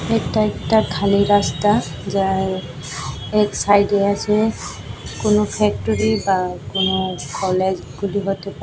এটা একটা খালি রাস্তা যার এক সাইডে আছে কোনো ফ্যাক্টরি বা কোনো কলেজ হতে পারে।